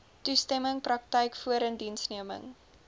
toestemming praktyk voorindiensneming